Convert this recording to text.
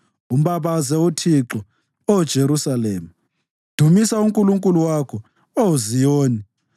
Umbabaze uThixo, Oh Jerusalema; dumisa uNkulunkulu wakho, Oh Ziyoni.